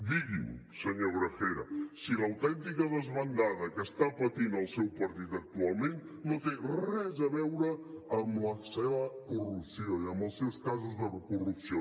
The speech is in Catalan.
digui’m senyor gragera si l’autèntica desbandada que està patint el seu partit actualment no té res a veure amb la seva corrupció i amb els seus casos de corrupció